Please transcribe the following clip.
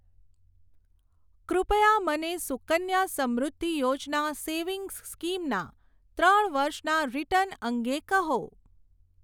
કૃપયા મને Sukanya Samriddhi Yojana savings scheme ના ત્રણ વર્ષના રીટર્ન અંગે કહો.